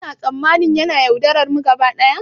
Kuna tsammanin yana yaudararmu gaba daya?